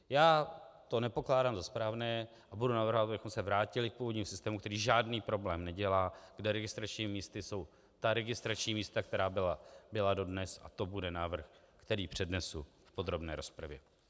Já to nepokládám za správné a budu navrhovat, abychom se vrátili k původnímu systému, který žádný problém nedělá, kde registračními místy jsou ta registrační místa, která byla dodnes, a to bude návrh, který přednesu v podrobné rozpravě.